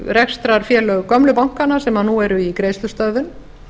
rekstrarfélög gömlu bankanna sem nú eru í greiðslustöðvun